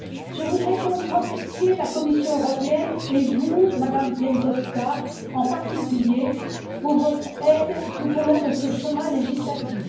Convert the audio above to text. Je voudrais donc remercier la Commission européenne et vous, Madame Bieńkowska, en particulier, pour votre aide tout au long de ce chemin législatif.